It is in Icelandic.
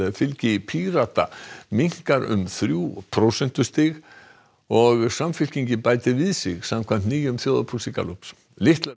fylgi Pírata minnkar um þrjú prósentustig og Samfylkingin bætir við sig samkvæmt nýjum þjóðarpúlsi Gallups litlar